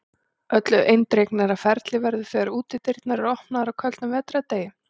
Öllu eindregnara ferli verður þegar útidyr eru opnaðar á köldum vetrardegi.